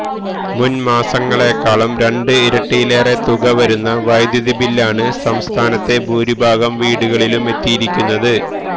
മുന്മാസങ്ങളേക്കാള് രണ്ട് ഇരട്ടിയിലേറെ തുക വരുന്ന വൈദ്യുതി ബില്ലാണ് സംസ്ഥാനത്തെ ഭൂരിഭാഗം വീടുകളിലുമെത്തിയിരിക്കുന്നത്